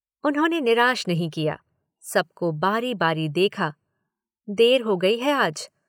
उन्होने निराश नहीं किया। सबको बारी बारी देखा। देर हो गयी है आज।